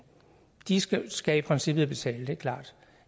de skal skal i princippet betale det er klart